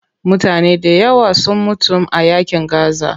Mutane dayawa sun mutum a yaƙin gaza.